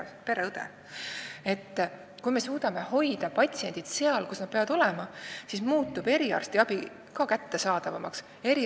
Kui me loome perearstisüsteemile tugeva aluse ja me suudame hoida patsiendid seal, kus nad peavad olema, siis muutub eriarstiabi ka kättesaadavamaks.